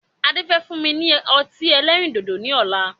Ade. Fẹ́ fún mi ní ọtí ẹlẹ́rìndòdò ni ọ̀la